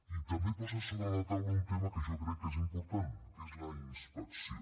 i també posa sobre la taula un tema que jo crec que és important que és la inspecció